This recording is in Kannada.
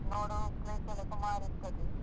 ನೋಡೋ place ಎಲ್ಲ ಸುಮಾರ್ ಇರ್ತದೆ.